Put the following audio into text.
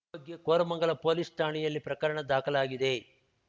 ಈ ಬಗ್ಗೆ ಕೋರಮಂಗಲ ಪೊಲೀಸ್‌ ಠಾಣೆಯಲ್ಲಿ ಪ್ರಕರಣ ದಾಖಲಾಗಿದೆ